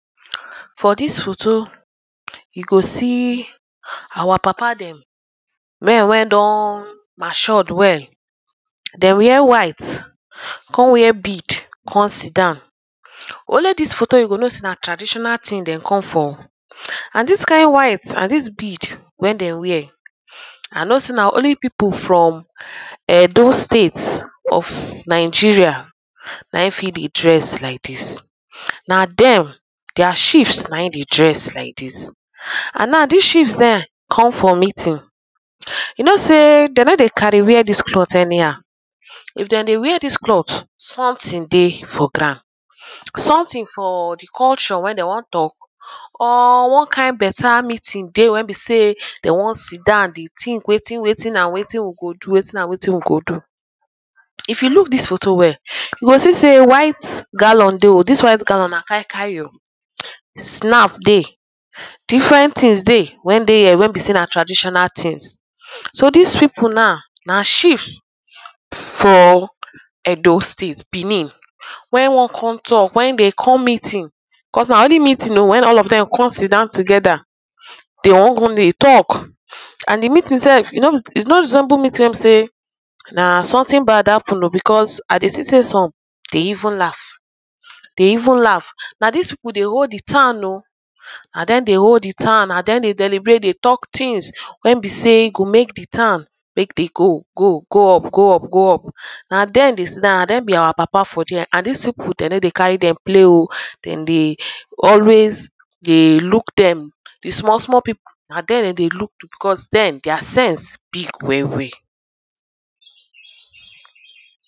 For this foto you go see our papa dem men wey don mature well dem wear white kon wear bead kon sidon only this photo you go know say na traditional ting dem come for o and dis kind white and this bead wet dem wear I know say na only people from Edo state of Nigeria na him fit dey dress like this na dem their chiefs na him dey dress like this and now dis chief dem come for meeting you know say de no dey carry wear this clothe anyhow if dem dey wear dis cloth something dey for ground something for the culture wey dem wan talk or one kind beta meeting dey wey be sey dem wan sidon dey think wetin wetin and wetin we go do wetin and wetin we go do if you look dis photo well you go see sey white gallon dey dis white gallon na kai kai o snap dey different tings dey wen dey here wey be say na traditional tings so dis people now na chief for Edo state Benin wey wan come talk when dey come meeting because na only meeting wey all of them come sidon together they wan come dey talk and the meeting self is not resemble meeting wey be sey na something bad happen o because I dey see sey some dey even laugh dey even laugh na dis people dey hold the town o na dem dey hold the town na dem dey deliberate dey talk tings wey be say e go make the town make dey go go go up go up go up na dem dey sidon na dem be our papa for there and dis people dey no dey carry dem play o dem dey always dey look them the small small people na dem dem dey look because dem their sense big well well